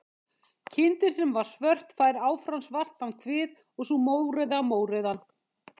Kindin sem var svört fær áfram svartan kvið og sú mórauða mórauðan.